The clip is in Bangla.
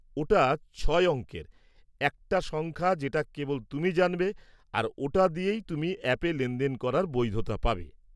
ওটা ছয় অঙ্কের একটা সংখ্যা যেটা কেবল তুমি জানবে, আর ওটা দিয়েই তুমি অ্যাপে লেনদেন করার বৈধতা পাবে।